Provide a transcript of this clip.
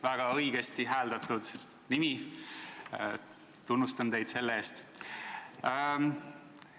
Väga õigesti hääldatud nimi, tunnustan teid selle eest!